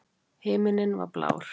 Himinninn var alveg blár.